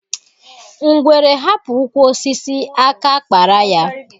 Ngwere hapụ ụkwụ osisi, aka a kpara ya.